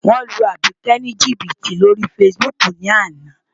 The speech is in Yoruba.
Wọ́n lu Àbíkẹ́ ní jìbìtì lórí Facebook ní àná.